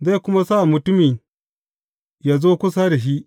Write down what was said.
Zai kuma sa mutumin yă zo kusa da shi.